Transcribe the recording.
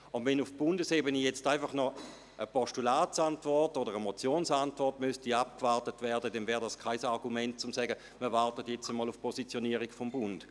Wenn nun auf Bundesebene noch eine Postulats- oder Motionsantwort abgewartet werden müsste, wäre dies kein Argument, um zu sagen, man warte jetzt auf eine Positionierung des Bundes.